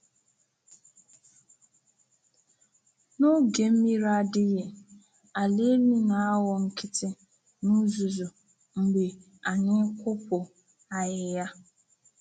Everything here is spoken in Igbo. N’oge mmiri adịghị, ala elu na-aghọ nkịtị na uzuzu mgbe anyị kwụpụ ahịhịa.